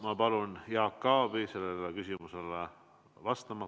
Ma palun Jaak Aabil sellele küsimusele vastata.